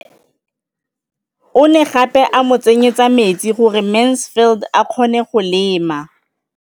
O ne gape a mo tsenyetsa metsi gore Mansfield a kgone go lema.